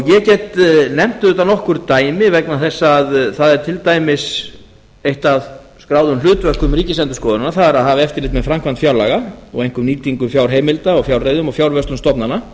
ég get nefnt auðvitað nokkur dæmi vegna þess að það er til dæmis eitt af skráðum hlutverkum ríkisendurskoðunar að hafa eftirlit með framkvæmd fjárlaga og einkum nýtingu fjárheimilda og fjárreiðum og fjárvörslu stofnana